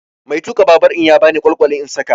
Mai tuka babur ya bani kwalkwali in saƙa.